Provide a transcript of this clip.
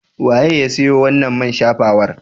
Waye ya siyo wannan man shafawar?